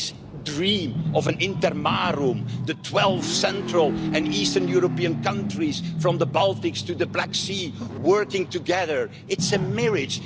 fringes. This dream of an Intermarium', the 12 central and eastern European countries from the Baltic to the Black Sea working together, is a